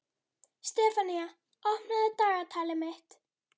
Sefanía, opnaðu dagatalið mitt.